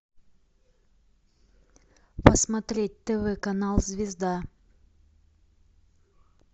посмотреть тв канал звезда